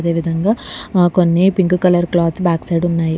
అదే విధంగా ఆ కొన్ని pink colour cloth back side ఉన్నాయి.